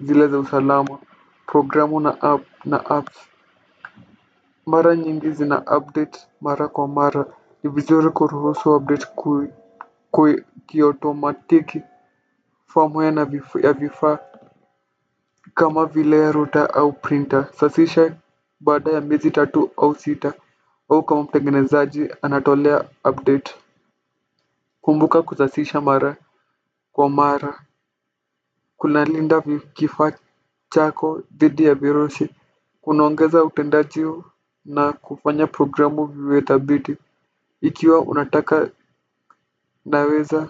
zile za usalama, programu na apps mara nyingi zinaupdate mara kwa mara. Ni vizuri kuruhusu update kwe kiotomatiki firmware ya vifaa kama vile ya ruta au printa safisha baada ya miezi tatu au sita au kama mtengenezaji anatolea update kumbuka kusasisha mara kwa mara kunalinda kifaa chako dhidi ya virushi. Kunaongeza utendaji na kufanya programu viwe dhabiti ikiwa unataka, unaweza.